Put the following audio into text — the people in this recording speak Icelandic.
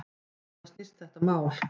Um hvað snýst þetta mál?